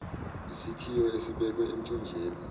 isithiyo esibekwe emthonjeni